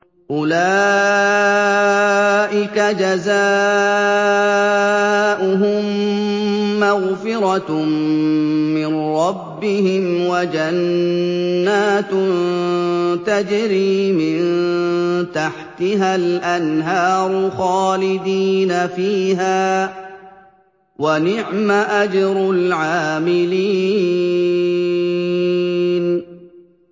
أُولَٰئِكَ جَزَاؤُهُم مَّغْفِرَةٌ مِّن رَّبِّهِمْ وَجَنَّاتٌ تَجْرِي مِن تَحْتِهَا الْأَنْهَارُ خَالِدِينَ فِيهَا ۚ وَنِعْمَ أَجْرُ الْعَامِلِينَ